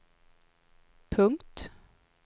punkt